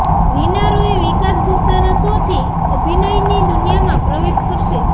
રીના રોય વિકાસ ગુપ્તાના શોથી અભિનયની દુનિયામાં પ્રવેશ કરશે